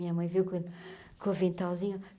Minha mãe veio com o aventalzinho.